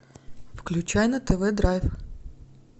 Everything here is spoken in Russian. включай на тв драйв